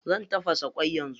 Zan tafasa ƙwai yanzu.